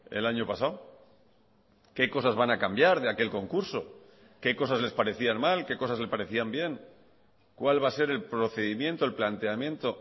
el año pasado qué cosas van a cambiar de aquel concurso qué cosas les parecían mal qué cosas le parecían bien cuál va a ser el procedimiento el planteamiento